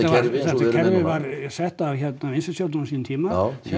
kerfi var sett af vinstristjórninni á sínum tíma